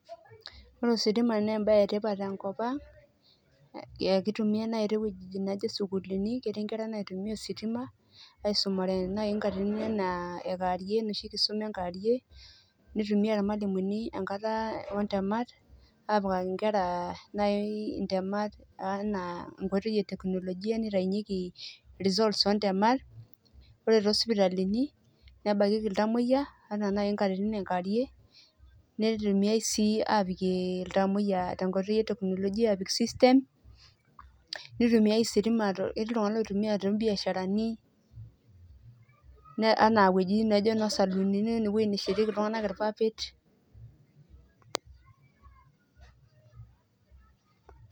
Ore ositima na embae etipat tenkop ang kitumiai nai towuejitin nijo sukuulini etii naitumia ositima aisumare nkatitin ana ekewarie enoshi kata ame kewarie nitumia irmalimulini enkata ontemat apikaki nkera ana ntemaat enkoitoi e teknolojia nitaunyeki results ontematat ore tosipitalini nenakieki ltamoyia anaa nai nkatitin e kewarie netumia si apikie ltamoyia] cs] system nitumiai ositima ketii ltunganak oitumia tombiasharani ana ewueji nijo saluuni nashieteki ltunganak irpapit